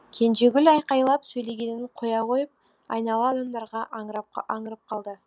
кенжегүл айқайлап сөйлегенін қоя қойып айнала адамдарға аңырып қалды